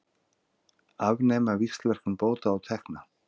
Afnema víxlverkun bóta og tekna